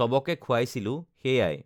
চবকে খোৱাইছিলোঁ সেয়াই